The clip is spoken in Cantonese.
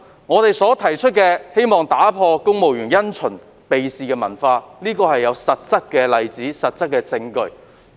我們所提出的建議，旨在打破公務員因循避事的文化，這種文化是有實質例子和證據支持的。